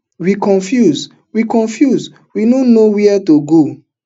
we confuse we confuse we no know wia to go